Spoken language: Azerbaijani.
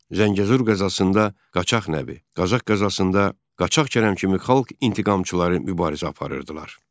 Zəngəzur qəzasında qaçaq Nəbi, Qazax qəzasında qaçaq Kərəm kimi xalq intiqamçıları mübarizə aparırdılar.